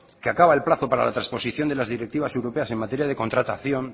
que acaba el plazo para la trasposición de las directivas europeas en materia de contratación